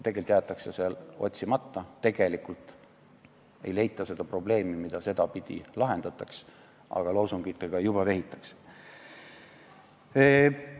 Tegelikult jäetakse see otsimata, tegelikult ei leita seda probleemi, mida sedapidi lahendataks, aga loosungitega juba vehitakse.